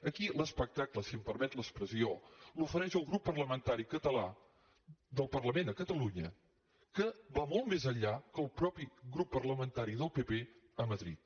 aquí l’espectacle si em permet l’expressió l’ofereix el grup parlamentari català del parlament a catalunya que va molt més enllà que el mateix grup parlamentari del pp a madrid